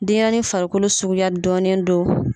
Denyɛrɛnin farikolo sugu dɔɔnen don.